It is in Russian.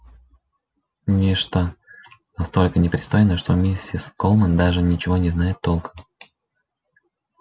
нечто настолько непристойное что миссис колмен даже ничего не знает толком